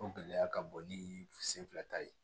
O gɛlɛya ka bon ni sen fila ta ye